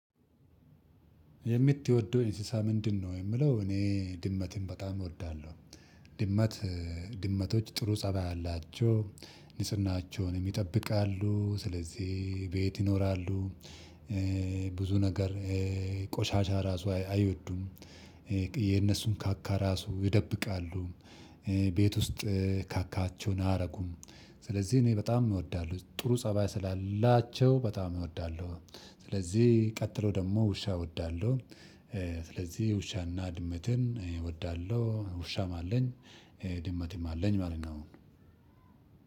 የምትወደው እንስሳት ምንድነው? የሚለው እኔ ድመትን በጣም እወዳለሁ። ድመት ድመቶች ጥሩ ፀባይ አላቸው። ንፅህናቸውን ይጠብቃሉ ስለዚህ ቤት ይኖራሉ። ብዙ ነገር ቆሻሻ ራሱ አይወዱም። የነሱን ካካ ራሱ ይደብቃሉ። ቤት ውስጥ ካካቸውን አያረጉም። ስለዚህ እኔ በጣም እወዳለሁ ጥሩ ፀባይ ስላላቸው በጣም እወዳለሁ። ስለዚህ ቀጥሎ ደግሞ ውሻ እወዳለሁ። ስለዚህ ውሻና ድመትን እወዳለሁ ውሻም አለኝ። ድመትም አለኝ ማለት ነው።